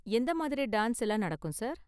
எந்த மாதிரி டான்ஸ் எல்லாம் நடக்கும் சார்?